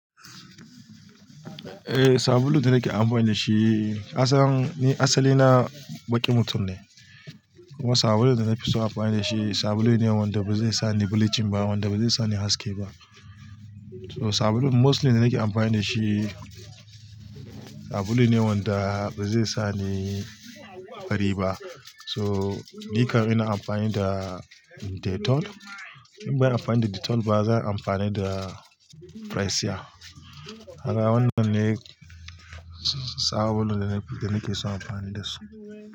Eh, sabulun da nake amfani da shi kasan ni asali na baƙin mutum ne. Kuma sabulun da na fi so amfani da shi, sabulun ne wanda ba zai sa ni bulicin ba, wanda ba zai sa ni haske ba. Sabulun mostly da nake amfani da shi, sabulun ne wanda ba zai sa ni fari ba. So, ni kan ina amfani da Dettol. In bai amfani da Dettol ba, zan yi amfani da Pressia. Haka wannan ne sabulun da nake so amfani da su.